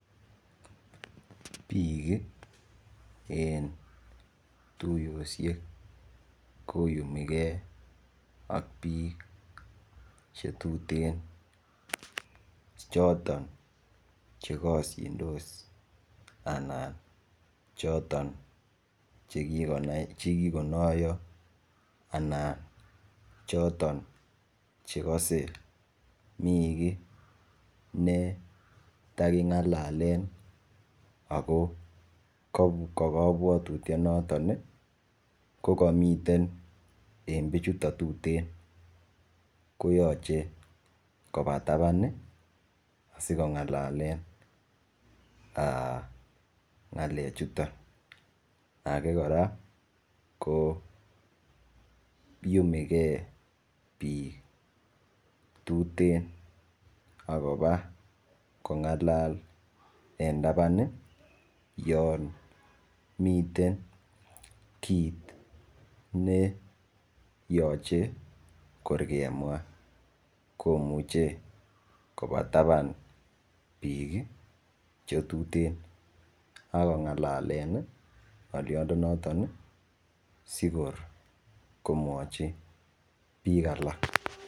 Bik en tuyoshek koyumigei ak bik chetutenchoton chekashindos anan choton chekikonaya anan choton chekase mi ki NE takingalalen ako kabwatutiet noton kokamiten en bichuton tuten koyache Koba taban asikongalalenbngalek chuton age koraa ko iyumi gei bik tuten akoba kongalal en taban Yan miten kit ne yache korgemwa komuche Koba taban bik chetuten akongalalen ngaliot noton sikor komwachi bik alak